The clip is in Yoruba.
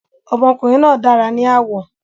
Ọmọkùnrin náà dára ní àwọ̀